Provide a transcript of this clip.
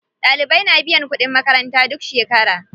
Ɗalibai na biyan kuɗin makaranta duk shekera.